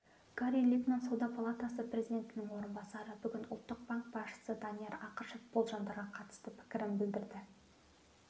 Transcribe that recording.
гари литман сауда палатасы президентінің орынбасары бүгін ұлттық банк басшысы данияр ақышев болжамдарға қатысты пікірін білдірді